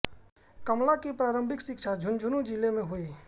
कमला की प्रारंभिक शिक्षा झुंझुनू जिले में हुई